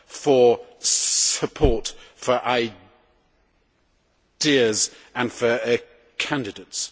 for support for ideas and for candidates.